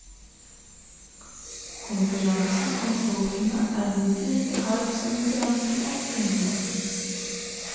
Konkurransen om folkene er minst like hard som konkurransen om kundene.